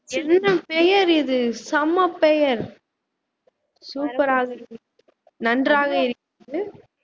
பெயர் இது செம்ம பெயர் சூப்பரா இருக்கிறது நன்றாக இருக்கிறது